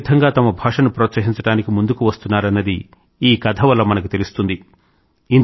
ప్రజలు ఏ విధంగా తమ భాషను ప్రోత్సహించడానికి ముందుకు వస్తున్నారన్నది ఈ కథ వల్ల మనకు తెలుస్తుంది